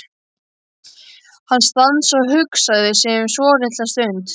Hann stansaði og hugsaði sig um svolitla stund.